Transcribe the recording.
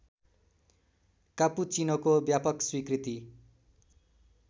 कापुचीनोको व्यापक स्वीकृति